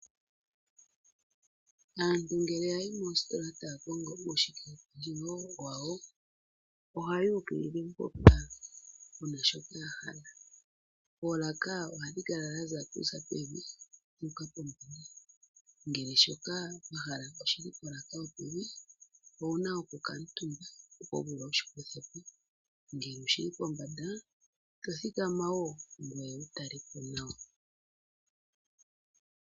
Aantu ngele ya yi moositola taya kongo uushike pendjewo wa wo, oha yuukilile mpoka puna shoka ya hala. Oolaka ohadhi kala dha za kuza pevi dhu uka pombanda, ngele shoka wa hala oshili polaka yo pevi owu na oku kaatumba opo wu vule wushi kuthe po, ngele oshili pombanda to thikama wo ngoye wu tale po nawa.